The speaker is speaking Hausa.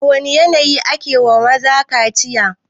A wane yanayi ne ake wa maza kaciya?